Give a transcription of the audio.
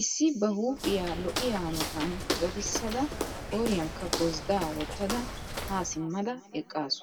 Issi ba huuphphiyaa lo''iyaa hanotytan dadisida qoriyanikka gossda wottada ha simmada eqqasu.